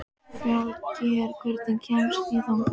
Falgeir, hvernig kemst ég þangað?